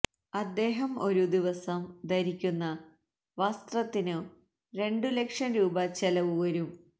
അദ്ദേഹം ഒരു ദിവസം ധരിക്കുന്ന വസ്ത്രത്തിനു രണ്ടു ലക്ഷം രൂപ ചെലവു വരും